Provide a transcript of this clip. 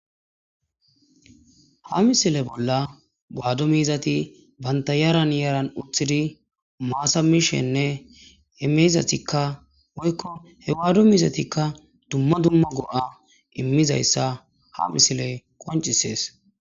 ha misile bolla baado miizati banta yaran yaran uthidi maasa mishenne emiizatikka woykko hewaado miizatikka dumma dumma go7a immizayssa ha misile qoncisees